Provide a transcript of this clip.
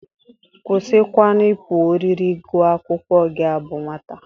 Kwụsịkwanụ ịpụ ọrịrị gụa akwụkwọ gị bụ nwata!